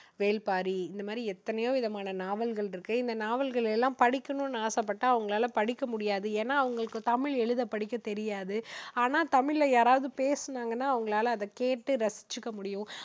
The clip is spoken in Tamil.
வேல்பாரி. இந்த மாதிரி எத்தனையோ விதமான நாவல்கள் இருக்கு. இந்த நாவல்கள் எல்லாம் படிக்கணும்னு ஆசைப்பட்டா அவங்களால படிக்க முடியாது. ஏன்னா, அவங்களுக்கு தமிழ் எழுத படிக்க தெரியாது. ஆனா, தமிழ்ல யாராவது பேசினாங்கன்னா அவங்களால அதை கேட்டு ரசிச்சுக்க முடியும்.